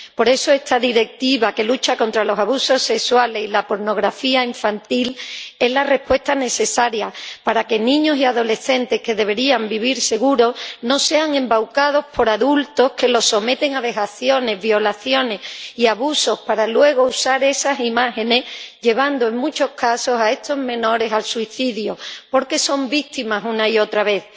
Por eso, esta Directiva, que lucha contra los abusos sexuales y la pornografía infantil, es la respuesta necesaria para que niños y adolescentes que deberían vivir seguros no sean embaucados por adultos que los someten a vejaciones, violaciones y abusos para luego usar esas imágenes, llevando, en muchos casos, a estos menores al suicidio, porque son víctimas una y otra vez.